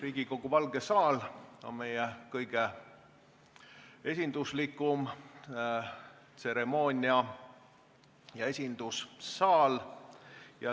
Riigikogu Valge saal on meie kõige esinduslikum tseremoonia- ja esindussaal.